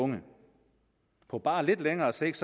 unge på bare lidt længere sigt